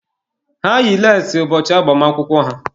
Ha yi leesi ụbọchị agbamakwụkwọ ha.